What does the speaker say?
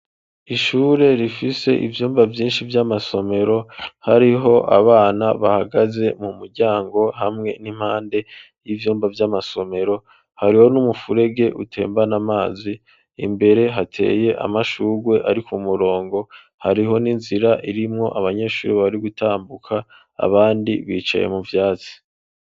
Ishure, rifise ivyumba vyinshi, vy'amasomero; hariho abana bahagaze, mu muryango, hamwe n'impande y'ivyumba, vy'amasomero; hariho n'umufurege, utembana amazi; imbere, hateye amashurwe, ari ku murongo, hariho n'inzira, irimwo abanyeshure, bari gutambuka, abandi bicaye, mu vyatsi.